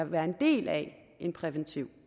være en del af en præventiv